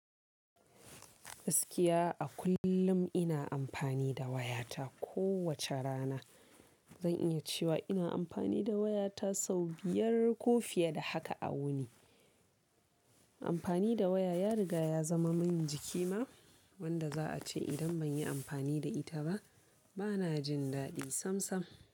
Gaskiya a kullum ina amfani da wayata kowace rana. Zan iya cewa ina amfani da wayata sau biyar ko fiye da haka a wuni. Amfani da waya ya riga ya zama min jiki ma wanda za a ce idan ban yi amfani da ita ba bana jin daɗi samsam.